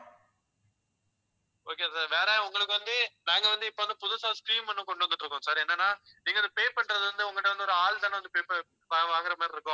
okay sir வேற உங்களுக்கு வந்து நாங்க வந்து இப்ப வந்து புதுசா scheme ஒண்ணு கொண்டு வந்துட்டிருக்கோம் sir என்னன்னா நீங்க இதை pay பண்றது வந்து உங்ககிட்ட வந்து ஒரு ஆள்தானே வந்து pay வாங்கற மாதிரி இருக்கும்.